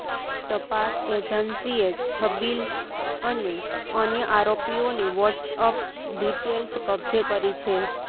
તપાસ એજન્સીએ છબીલ અને અન્ય આરોપીઓની વોટ્સઅપ ડિટેલ્સ કબ્જે કરી છે